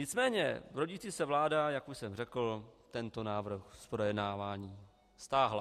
Nicméně rodící se vláda, jak už jsem řekl, tento návrh z projednávání stáhla.